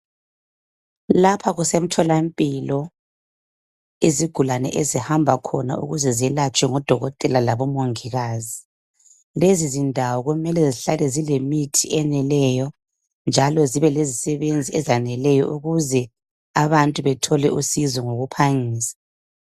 Lapha kusemtholampilo izigulani ezihamba khona ukuze zelatshwe ngodokotela labomongikazi. Lezi zindawo kumele zihlale zilemithi eneleyo, njalo zibe lezisebenzi ezaneleyo ukuze abantu bethole usizo ngokuphangisa.